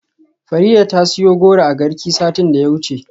Farida ta siyo goro a Garki satin da ya gabata.